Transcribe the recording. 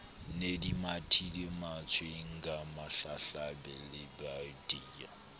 ne di mathile mantswenga hlahlalebajwadi